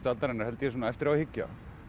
aldarinnar held ég svona eftir á að hyggja